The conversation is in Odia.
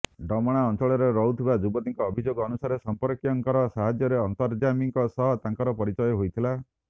ଡମଣା ଅଞ୍ଚଳରେ ରହୁଥିବା ଯୁବତୀଙ୍କ ଅଭିଯୋଗ ଅନୁସାରେ ସମ୍ପର୍କୀୟଙ୍କର ସାହାଯ୍ୟରେ ଅନ୍ତର୍ଯାମୀଙ୍କ ସହ ତାଙ୍କର ପରିଚୟ ହୋଇଥିଲା